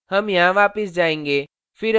हम यहाँ वापस जाएंगे